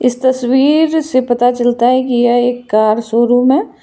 इस तस्वीर से पता चलता है कि यह एक कार शोरूम है।